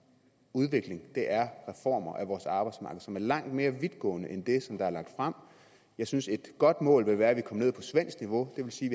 udvikling er reformer af vores arbejdsmarked som er langt mere vidtgående end det som der er lagt frem jeg synes et godt mål ville være at vi kom ned på svensk niveau det vil sige